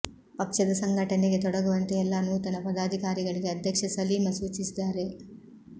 ಪಕ್ಷದ ಸಂಘಟನೆಗೆ ತೊಡಗುವಂತೆ ಎಲ್ಲ ನೂತನ ಪದಾಧಿಕಾರಿಗಳಿಗೆ ಅಧ್ಯಕ್ಷ ಸಲೀಮ ಸೂಚಿಸಿದ್ದಾರೆ